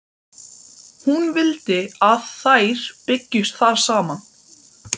Hún vildi að þær byggju þar saman.